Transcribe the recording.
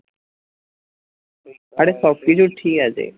আরে সব কিছুই ঠিক আছে